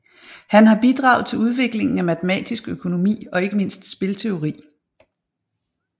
Han har bidraget til udviklingen af matematisk økonomi og ikke mindst spilteori